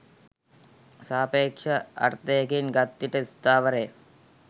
සාපේක්ෂ අර්ථයකින් ගත් විට ස්ථාවර ය